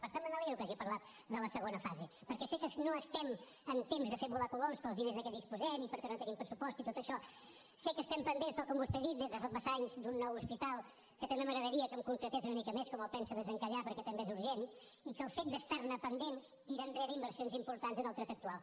per tant me n’alegro que hagi parlat de la segona fase perquè sé que no estem en temps de fer volar coloms pels diners de què disposem i perquè no tenim pressupost i tot això sé que estem pendents tal com vostè ha dit des de fa massa anys d’un nou hospital que també m’agradaria que em concretés una mica més com el pensa desencallar perquè també és urgent i que el fet d’estar ne pendents tira enrere inversions importants en el trueta actual